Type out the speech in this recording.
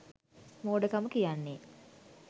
මෝඩකම කියන්නේ.